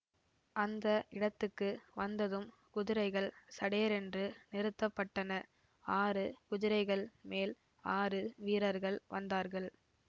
அந்த இடத்துக்கு வந்ததும் குதிரைகள் சடேரென்று நிறுத்த பட்டன ஆறு குதிரைகள் மேல் ஆறு வீரர்கள் வந்தார்கள்